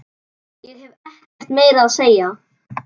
Ég hef ekkert meira að segja.